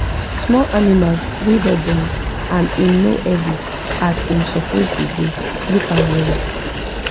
small animals wa da born and him no heavy as him suppose da go look am well well